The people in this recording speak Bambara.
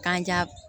Kan ja